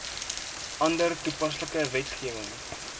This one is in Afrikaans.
ander toepaslike wetgewing